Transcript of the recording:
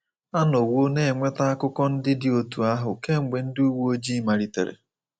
A nọwo na-enweta akụkọ ndị dị otú ahụ kemgbe ndị uwe ojii malitere.